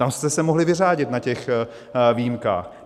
Tam jste se mohli vyřádit na těch výjimkách.